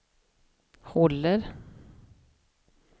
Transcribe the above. håller